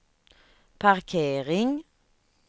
parkering